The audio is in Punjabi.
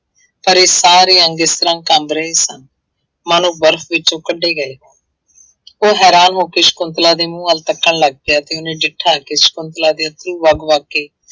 ਪਰ ਇਹ ਸਾਰੇ ਅੰਗ ਇਸ ਤਰ੍ਹਾਂ ਕੰਬ ਰਹੇ ਸਨ ਮਾਨੋ ਬਰਫ਼ ਵਿੱਚੋਂ ਕੱਢੇ ਗਏ ਉਹ ਹੈਰਾਨ ਹੋ ਕੇ ਸਕੁੰਤਲਾ ਦੇ ਮੂੰਹ ਵੱਲ ਤੱਕਣ ਲੱਗ ਪਿਆ, ਤੇ ਉਹਨੇ ਡਿੱਠਾ ਕਿ ਸਕੁੰਤਲਾ ਦੇ ਅੱਥਰੂ ਵਗ ਵਗ ਕੇ